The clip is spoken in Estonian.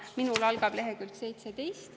Minul algab see leheküljel 17.